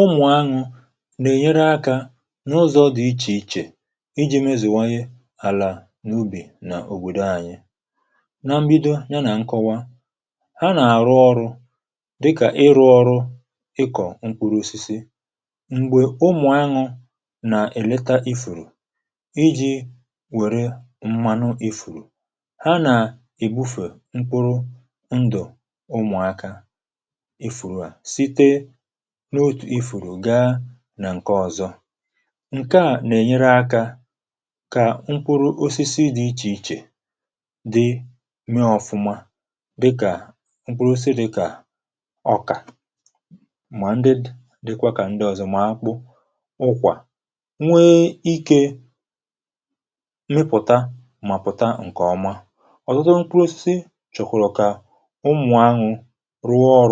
Ụmụ̀n aṅụ nà-ènyere um akȧ n’ụzọ dị̇ iche iche iji̇ mezèwanye àlà n’ubì nà òbòdo ànyị. Nà mbido ya nà nkọwa, ha nà-àrụ ọrụ̇ dịkà ịrụ̇ ọrụ ịkọ̀ mkpụrụ osisi... M̀gbè ụmụ̀n aṅụ nà-èleta ifùrù iji̇ wère mmanụ ifùrù ha nà ị̀bụfè mkpụrụ ndụ̀ ụmụ̀n akà n’otù ifùrù gaa nà ǹke ọ̀zọ, ǹke à nà-ènyere akȧ kà mkpuru̇ osisi dị̇ iche iche dị mee ọfụma. Dịkà mkpuru̇ osisi dị̇ kà ọkà, mà ndị dịkwa kà ndị ọ̀zọ. Màkpụ ụkwà nwee ike, nwepụta, mà pùta ǹkè ọma. Ọ̀tụtụ.. mkpuru̇ osisi chọ̀kwàrọ̀ kà ụmụ̀nwà um ahụ̀ rụọ ọrụ̇,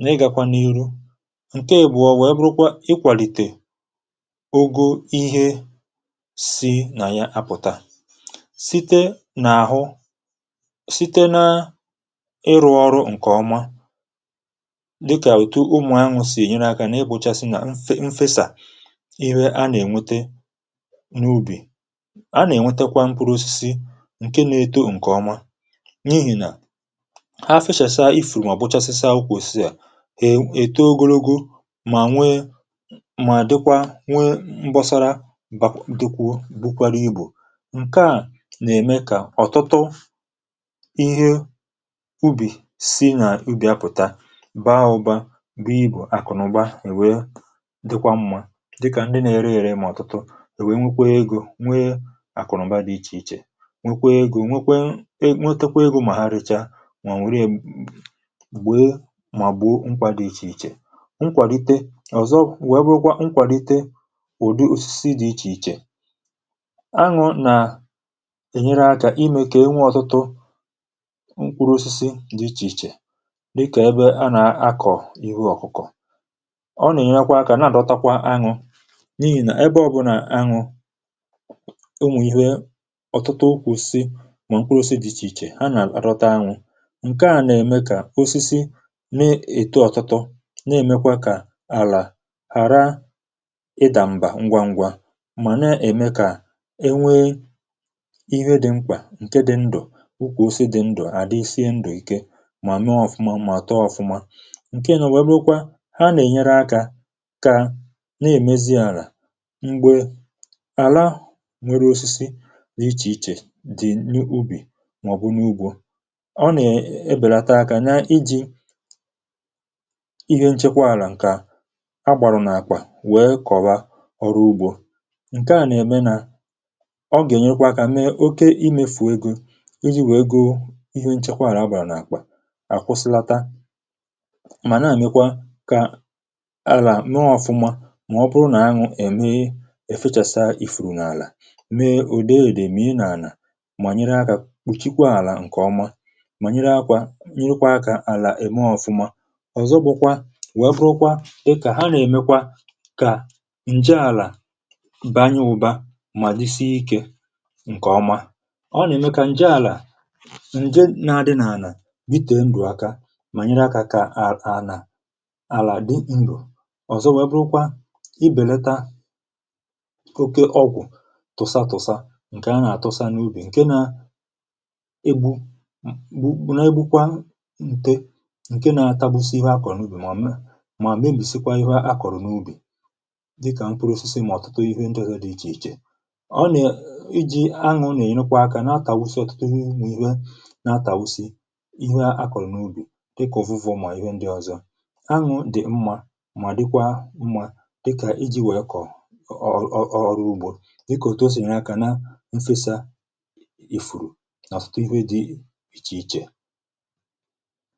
na-ịgakwa n’ihu. ǹke à bụ̀, nwèe, bụrụkwa ikwàlìtè ogoo ihe si nà ya apụ̀ta. Site n’àhụ, site nà àrụ̇ ọrụ ǹkèọma, dịkà òtu ụmụ̀n aṅụ̀ sì ènyere akȧ, na-ịgbòchasị nà mfe mfesà. Ihe a nà-ènwete n’ubì, a nà-ènwetekwa mkpụrụ̇ osisi ǹke na-eto. ǹkèọma, n’ihì nà èto ogologo, mà nwe, mà dịkwa nwe mbọsara. Dịkwà bụkwara ibù. ǹke à um nà-ème kà ọ̀tụtụ ihe ubì si nà ubì apụ̀ta, baa ụbȧ, bụ ibù àkụ̀nụ̀ba. Èwe dịkwa mmȧ, dịkà ndị na-ere ėrė. Mà ọ̀tụtụ èwè nwekwa egȯ, nwe àkụ̀nụ̀ba dị iche iche, nwekwa egȯ, nwekwa enwė, nwekwa egȯ. Mà ha richa, màgbo, nkwa dị iche iche, nkwàlite ọ̀zọ, wèe bụrụkwa nkwàlite ụ̀dị osisi dị̇ iche iche. Aṅụ̀ nà-ènyere akȧ ime kà enwe ọ̀tụtụ nkwụrụ̇ osisi dị iche iche. Dịkà... ebe a nà-akọ̀ ìwu ọ̀kụ̀kọ̀, ọ nà-ènyekwa akȧ, na-àdọtakwa aṅụ̇. N’ihì nà ebe ọ̇bụ̇nà aṅụ̀, ụmụ̀ ihe ọ̀tụtụ ukwùsi. Mà nkwụrụ̇ osisi dị̇ iche iche ha nà-àrọta aṅụ̇, na-èmekwa kà àlà ghàra ịdà mbà ngwa ngwa, mà na-ème kà e nwee ihe dị mkpà ǹke dị ndụ̀. Nke dị ndụ̀, ukwù ose dị ndụ̀, àdị sie ndụ̀ ike, mà mee ọfụma, màtọ ọfụma. ǹke nà o nwèrèkwa. Ha nà-ènyere akȧ kà na-èmezi àlà, m̀gbè àlà nwere osisi n’ịchè ịchè dị n’ubì màọ̀bụ n’ugbȯ ihe nchekwa. Àlà ǹkè a agbàrọ̀ n’àkwà, wee kọ̀wa ọrụ ugbȯ ǹke à nà-ème, nà ọ gà-ènyekwa akȧ mee oke imefù um egȯ iji̇ wèe goo ihe nchekwa. Àlà... agbàrọ̀ n’àkwà àkwụsilata, mà na-èmekwa kà àlà nọ ọ̀fụma. Mà ọ bụrụ nà anwụ̀ ème efechasaa ifùrù n’àlà, mee ùde èdè. M ihe nà-ànà, mà nyere akȧ kpuchikwa àlà. Ǹkè ọma ọ̀zọ gbụkwa, webukwa ịkà ha, nà-èmekwa kà ǹje àlà banye ụbȧ, mà dị sie ikė. Ǹkè ọma, ọ nà-ème kà ǹje àlà ǹje nȧ-adị n’ànà, bite ǹdụ̀ aka, mà nyere akȧ kà a ànà àlà dị. um ǹbù ọ̀zọ webukwa ibèleta oke ọgwụ̀ tụsa tụsa, ǹkè a nà-àtụsa um n’ubì, ǹke nȧ egbu bụ̀ bụ̀, nà um egbukwa ǹte, ǹke nȧ-atagbusi ihu̇ akọ̀rọ̀ n’ubì, mà mee, mà mebìsikwa ihụ̇ akọ̀rọ̀ n’ubì. Dịkà mkpụrụ̇ osisi, mà ọ̀tụtụ ihu ndị hụ dị iche iche. Ọ nè iji̇ anwụ̇ nà-ènyekwa akȧ, na-atàbusi ọ̀tụtụ ihu, nà-atàbusi ihu̇ akọ̀rọ̀ um... n’ubì. Dịkà ovenu̇, mà ihe ndị ọ̀zọ, anwụ̇ dị̀ mmȧ, mà dịkwa mmȧ. Dịkà iji̇ nwèe kọ̀ ọ̀ ọrụ ugbȯ, dịkà òto sì n’aka, nà mfesa ìfùrù nà tụtụ ihu̇ dị iche iche.